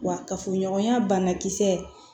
Wa kafoɲɔgɔnya banakisɛ